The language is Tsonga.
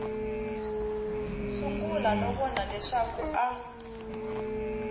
sungula no vona leswaku a